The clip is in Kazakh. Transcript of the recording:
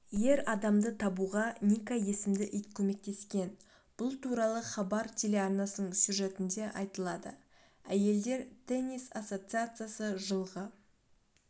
ер адамды табуғаника есімді ит көмектескен бұл туралы хабар телеарнасының сюжетінде айтылады әйелдер теннис ассоциациясы жылғы